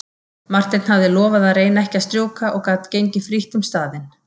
Marteinn hafði lofað að reyna ekki að strjúka og gat gengið frítt um staðinn.